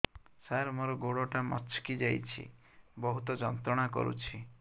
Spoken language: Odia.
ସାର ମୋର ଗୋଡ ଟା ମଛକି ଯାଇଛି ବହୁତ ଯନ୍ତ୍ରଣା କରୁଛି